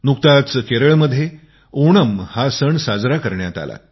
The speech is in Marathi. नुकताच केरळमध्ये ओणम हा सण साजरा करण्यात आला